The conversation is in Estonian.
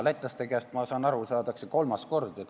Lätlaste käest, olen nõnda aru saanud, saadakse vastu nina kolmas kord.